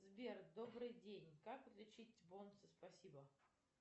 сбер добрый день как отличить бонусы спасибо